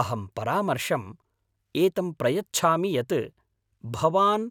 अहं परामर्शम् एतं प्रयच्छामि यत् भवान्